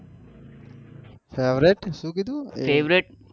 Favorite શું કીધું